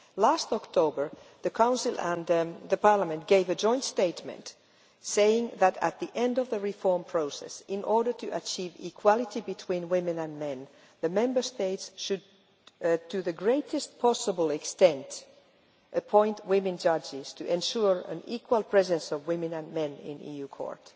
Last October the Council and Parliament made a joint statement saying that at the end of the reform process, in order to achieve equality between women and men, the Member States should, to the greatest possible extent, appoint women judges to ensure an equal presence of women and men in the EU Court.